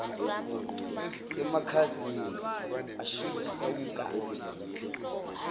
emakhazeni ashubisa umkantsha